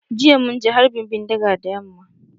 Jiya mun ji harbin bindiga da yamma.